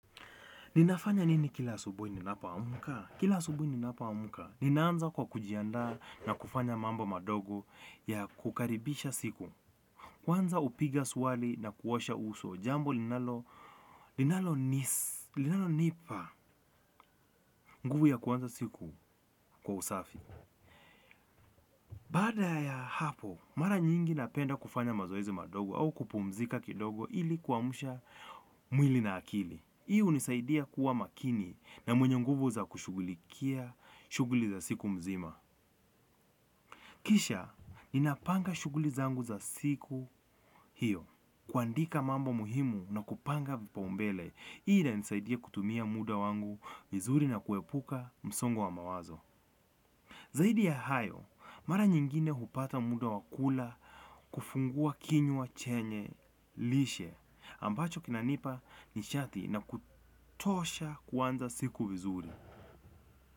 Ninafanya nini kila asubuhi ninapo amka? Kila asubuhi ninapo amka, ninaanza kwa kujianda na kufanya mambo madogo ya kukaribisha siku. Kwanza hupiga swali na kuosha uso jambo, linalo nipa nguvu ya kuanza siku kwa usafi. Baada ya hapo, mara nyingi napenda kufanya mazoezi madogo au kupumzika kidogo ili kuamsha mwili na akili. Hii hunisaidia kuwa makini na mwenye nguvu za kushugulikia shughuli za siku mzima. Kisha, ninapanga shughuli zangu za siku hiyo. Kuandika mambo muhimu na kupanga vipa umbele, hii inanisaidia kutumia muda wangu vizuri na kuepuka msongo wa mawazo. Zaidi ya hayo, mara nyingine hupata muda wakula kufungua kinywa chenye lishe. Ambacho kinanipa nishati na kutosha kuanza siku vizuri.